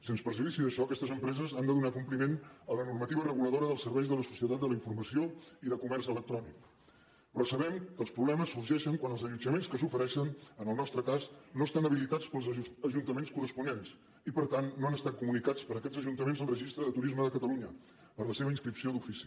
sens perjudici d’això aquestes empreses han de donar compliment a la normativa reguladora dels serveis de la societat de la informació i de comerç electrònic però sabem que els problemes sorgeixen quan els allotjaments que s’ofereixen en el nostre cas no estan habilitats pels ajuntaments corresponents i per tant no han estat comunicats per aquests ajuntaments al registre de turisme de catalunya per a la seva inscripció d’ofici